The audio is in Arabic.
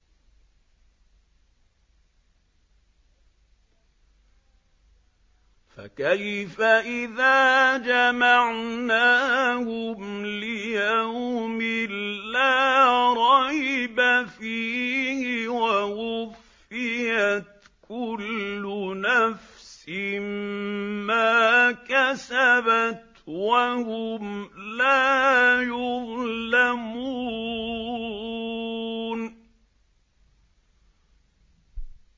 فَكَيْفَ إِذَا جَمَعْنَاهُمْ لِيَوْمٍ لَّا رَيْبَ فِيهِ وَوُفِّيَتْ كُلُّ نَفْسٍ مَّا كَسَبَتْ وَهُمْ لَا يُظْلَمُونَ